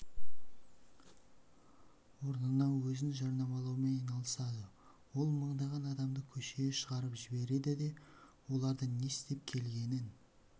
орнына өзін жарнамалаумен айналысады ол мыңдаған адамды көшеге шығарып жібереді де олар не істеп келгенін